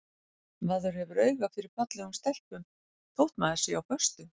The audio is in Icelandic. Maður hefur auga fyrir fallegum stelpum þótt maður sé á föstu.